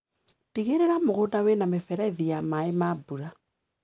Tigĩrĩra mũgunda wĩna mĩberethi ya maĩ ma mbura.